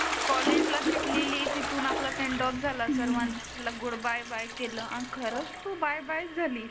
कॉलेजला भेटलेली तीथुन आपला सेंड ऑफ झाला. सर्वांनी आपल्याला गुड बाय केलं आणि खरचंं तु बाय बाय चं झाली.